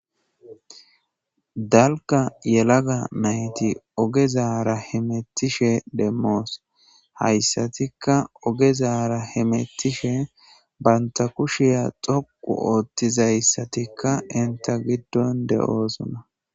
dalka yelaga mayti ogezaara hemettishe demmoos hayssatikka ogezara hemettishe banta kushiya xoqu oothtizayssatikka inta giddon de7oosona